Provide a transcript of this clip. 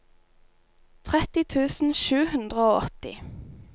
tretti tusen sju hundre og åtti